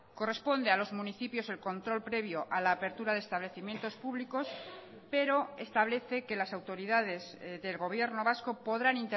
corresponde a los municipios el control previo a la apertura de establecimientos públicos pero establece que las autoridades del gobierno vasco podrán